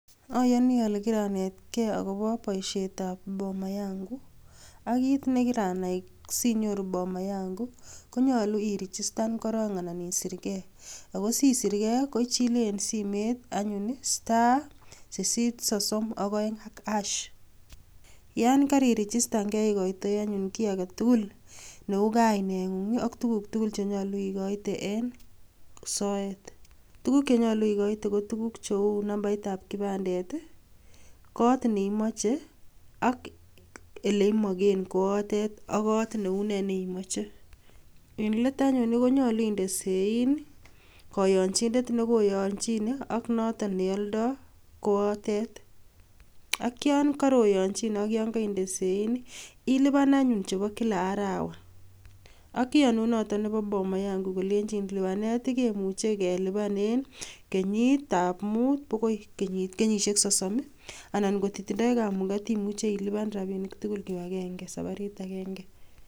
Ayoni ole kiranetgee akobo boishietab bomayangu, akit nekiranai sinyoruu bomayangu konyolu irijistan korong anan isirir gee ako sisirgeei, koichile en simet anyon*832#.Yon keirijistangee ikoitoi anyun kit agetugul neukainengung ak tugul tugul chekimoe en soet Tuguuk chekimoe kocheu cheisibu, nambaitab kipandet, kot neimoche ak eleimiken kowotet ak kot neu nee neimoche. Eng let anyun konyolu indee sein koyonyinet ak noton neoldeun got. Ak yon kooyonyinet ak inde sein ilipanan anyun chebo kila arawaa, ak iyonun notok Nebo Boma yangu kolenyin rabinik ab kot konyolu kelipan kila kenyisiek mut akoi kenyisiek sosom, kotitindoi kamugeet imuche ilipan rabinik tugul kibagenge sabarit agenge